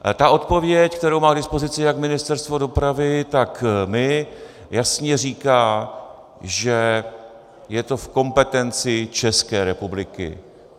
Ta odpověď, kterou má k dispozici jak Ministerstvo dopravy, tak my, jasně říká, že je to v kompetenci České republiky.